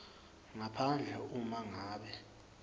ngaphandle uma ngabe